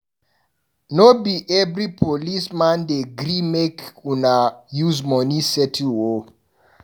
No be every policeman dey gree make una use money settle o.